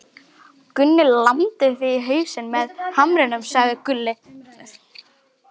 Gunni lamdi þig í hausinn með hamrinum, sagði Gulli.